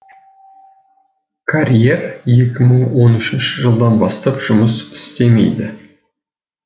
карьер екі мың он үшінші жылдан бастап жұмыс істемейді